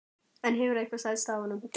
En hefur eitthvað selst af honum?